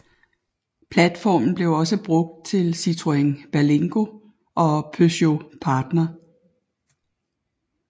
Platformen blev også brugt til Citroën Berlingo og Peugeot Partner